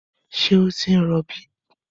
Ṣé ó ti ń rọbí?